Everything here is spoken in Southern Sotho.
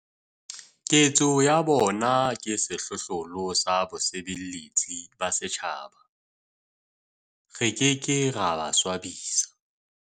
Ketso ya bona ke sehlohlolo sa bosebeletsi ba setjhaba. Re ke ke ra ba swabisa.